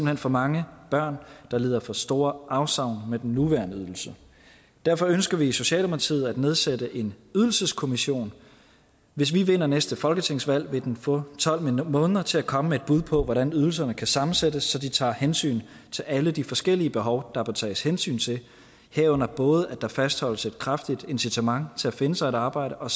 hen for mange børn der lider for store afsavn med den nuværende ydelse derfor ønsker vi i socialdemokratiet at nedsætte en ydelseskommission hvis vi vinder næste folketingsvalg vil den få tolv måneder til at komme med et bud på hvordan ydelserne kan sammensættes så de tager hensyn til alle de forskellige behov der bør tages hensyn til herunder både at der fastholdes et kraftigt incitament til at finde sig et arbejde og